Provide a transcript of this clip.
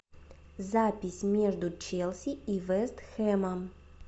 запись между челси и вест хэмом